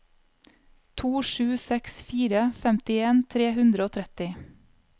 to sju seks fire femtien tre hundre og tretti